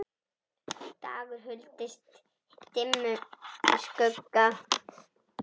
dagur huldist dimmum skugga